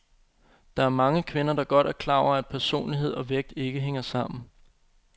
Der er mange kvinder, der godt er klar over, at personlighed og vægt ikke hænger sammen.